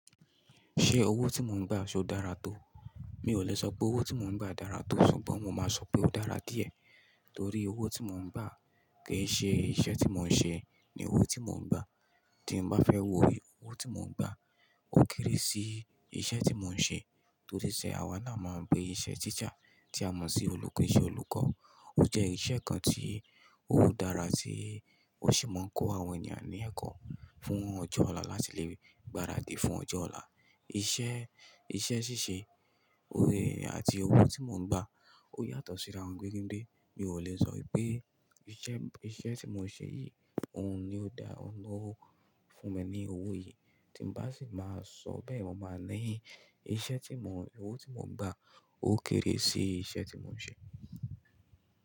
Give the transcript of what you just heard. Ṣé owó tí mò ń gbà ṣé ó dára tó? Mi ò lè sọ pé owó tí mò ń gbà dára tó ṣùgbọ́n mo máa sọ pé ó dára díẹ̀. Torí owó tí mò ń gbà kì í ṣe iṣẹ́ tí mò ń ṣe ni owó tí mò ń gbà. Tí mo bá fẹ́ wo owó tí mò ń gbà ó kéré sí iṣẹ́ tí mò ń ṣe. Toríṣẹ́ àwa naa mo ń bi iṣẹ́ tteacher tí a mọ̀ sí olùkọ́ ni iṣẹ́ olùkọ́. Ó jẹ́ iṣẹ́ kan tí ó dára tí ó sì máa ń kọ́ àwọn ènìyàn ní ẹ̀kọ́ fún ọjọ́ ọ̀la láti lè gbaradì fún ọjọ́ ọ̀la. Iṣẹ́, iṣẹ́ ṣíṣe orí àti owó tí mò ń gbà ó yàtọ̀ síra won gbege dé. Mi ò lè sọ wípé iṣẹ́, iṣẹ́ tí mò ń ṣe yìí òun ni ó da, òun ló fún mi ní owó yìí tí bá sì máa sọ bẹ́ẹ̀ mo máa ní iṣẹ́ tí mò ń, owó tí mò ń gbà ó kéré sí iṣẹ́ tí mò ń ṣe.